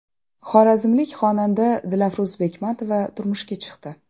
Xorazmlik xonanda Dilafruz Bekmetova turmushga chiqdi.